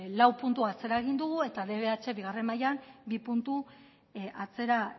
lau puntu atzera egin dugu eta dbh bigarren mailan bi puntu atzera